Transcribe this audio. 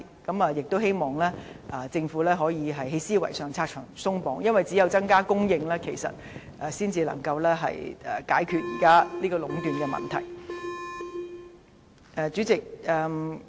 我們希望政府在思維上可以拆牆鬆綁，因為只有增加供應，才能解決現時領展壟斷的問題。